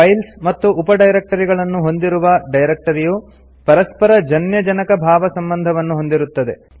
files ಮತ್ತು ಉಪ ಡೈರಕ್ಟರಿಗಳನ್ನು ಹೊಂದಿರುವ ಡೈರೆಕ್ಟರಿಯು ಪರಸ್ಪರ ಜನ್ಯ ಜನಕಭಾವಸಂಬಂಧವನ್ನು ಹೊಂದಿರುತ್ತದೆ